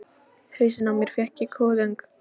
Hausinn á mér fer í kuðung.